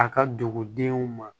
A ka dugudenw ma